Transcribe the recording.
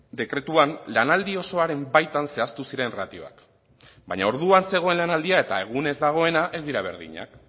dekretuan lanaldi osoaren baitan zehaztu ziren ratioak baina orduan zegoen lanaldia eta egunez dagoena ez dira berdinak